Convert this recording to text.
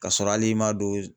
Ka sɔrɔ hali i ma don